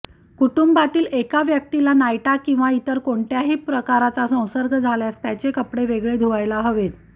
कुटुंबातील एका व्यक्तीला नायटा किंवा इतर कोणत्याही प्रकारचा संसर्ग झाल्यास त्याचे कपडे वेगळे धुवायला हवेत